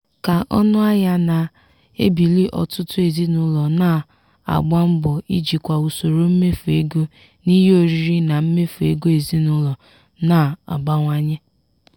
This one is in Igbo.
ka ọnụahịa na-ebili ọtụtụ ezinụlọ na-agba mbọ ijikwa usoro mmefu ego n'ihe oriri na mmefu ego ezinụlọ na-abawanye.